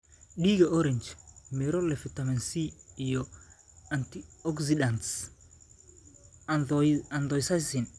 Dhiiga Orange: Miro leh fiitamiin C iyo antioxidants anthocyanin.